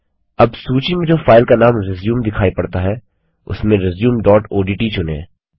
अब सूची में जो फाइल का नाम रिज्यूम दिखाई पड़ता है उसमें रिज्यूम डॉट ओडीटी चुनें